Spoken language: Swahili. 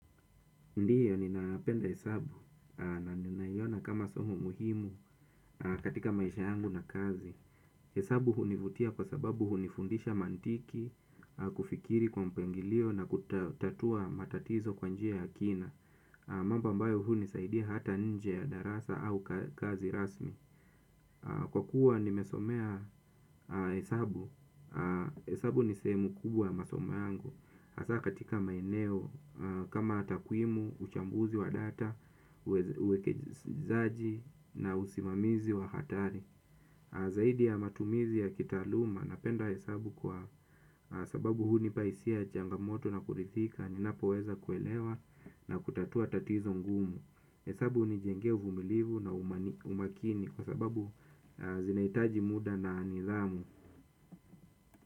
Ndiyo, ninapenda hesabu na ninaiona kama somo muhimu katika maisha yangu na kazi. Hesabu hunivutia kwa sababu hunifundisha mantiki, kufikiri kwa mpangilio na kutatua matatizo kwa njia ya kina. Mambo ambayo hunisaidia hata nje ya darasa au kazi rasmi. Kwa kuwa nimesomea hesabu, hesabu ni sehemu kubwa ya masomo yangu. Hasa katika maeneo kama takwimu, uchambuzi wa data, uwekejizaji na usimamizi wa hatari. Zaidi ya matumizi ya kitaaluma napenda hesabu kwa sababu hunipa hisia ya changamoto na kurithika ninapoweza kuelewa na kutatua tatizo ngumu hesabu hunijengea uvumilivu na umakini kwa sababu zinahitaji muda na nidhamu.